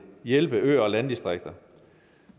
hjælpe øer og landdistrikter